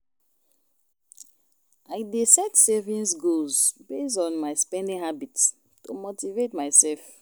I dey set savings goals based on my spending habits to motivate myself.